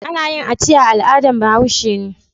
Ana yin aciya al'adan Bahaush. ne